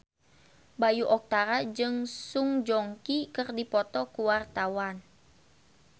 Bayu Octara jeung Song Joong Ki keur dipoto ku wartawan